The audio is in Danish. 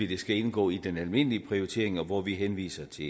det skal indgå i den almindelige prioritering hvor vi henviser til